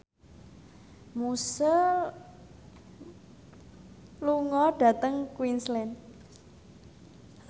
Muse lunga dhateng Queensland